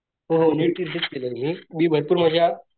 होहो neat research केला मी मी भरपूर माझ्या